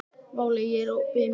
Váli, er opið í Miðeind?